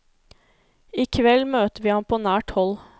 I kveld møter vi ham på nært hold.